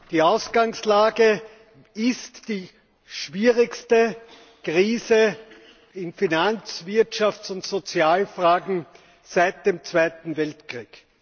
Die Ausgangslage ist die schwierigste Krise in Finanz Wirtschafts und Sozialfragen seit dem Zweiten Weltkrieg.